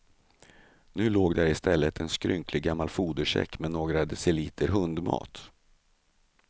Nu låg där i stället en skrynklig gammal fodersäck med några deciliter hundmat.